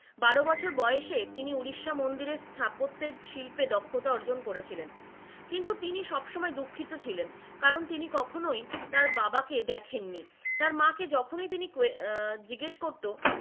বারো বছর বয়সে তিনি উড়িষ্যা মন্দিরের স্থাপত্যের শিল্পে দক্ষতা অর্জন করেছিলেন, কিন্তু তিনি সবসময় দুঃখিত ছিলেন কারণ তিনি কখনোই তার বাবাকে দেখেননি, তার মা কে যখনই তিনি আহ জিজ্ঞেস করতো,